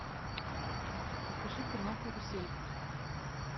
покажи канал карусель